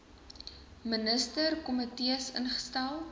minister komitees instel